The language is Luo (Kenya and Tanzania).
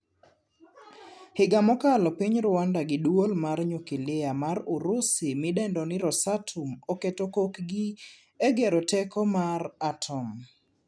Higa mokalo piny Rwanda gi duol mar nyukilia mar Urusi midendo ni ROSATOM oketo kokgi egedo teko mar atom.